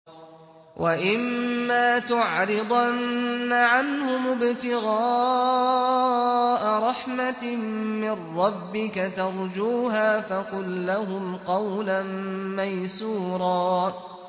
وَإِمَّا تُعْرِضَنَّ عَنْهُمُ ابْتِغَاءَ رَحْمَةٍ مِّن رَّبِّكَ تَرْجُوهَا فَقُل لَّهُمْ قَوْلًا مَّيْسُورًا